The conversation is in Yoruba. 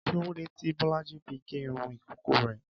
Kí lóde tí Bọ́lájí ṣe gé irun ìkókó rẹ̀?